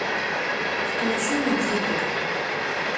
включи никиту